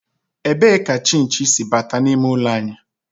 Ebee ka chinchi si bata n'ime ụlọ anyị?